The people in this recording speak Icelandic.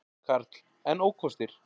Karl: En ókostir?